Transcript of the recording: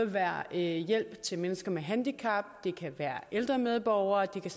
være hjælp til mennesker med handicap det kan være hjælp ældre medborgere det kan